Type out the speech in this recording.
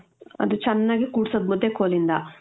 ಅದು ಚನ್ನಾಗಿ ಕೂಡ್ಸೋದು ಮುದ್ದೆ ಕೋಲಿಂದ .